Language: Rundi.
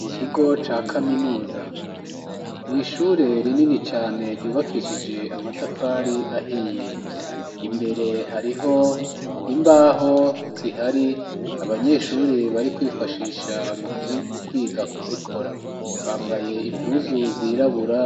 Mu kigo ca kaminuza mw' ishure rinini cane ryubakishije amatafari ahiye, imbere hariho imbaho zihari abanyeshuri bari kwifashisha mu kwiga kuzikora bambaye impuzu zirabura